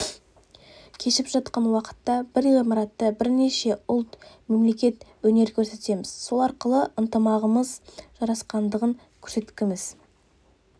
кешіп жатқан уақытта бір ғимаратта бірнеше ұлт мемлекет өнер көрсетеміз сол арқылы ынтымағымыз жарасқандығын көрсеткіміз